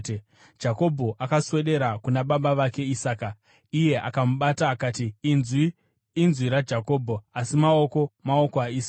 Jakobho akaswedera kuna baba vake Isaka, iye akamubata akati, “Inzwi, inzwi raJakobho, asi maoko maoko aEsau.”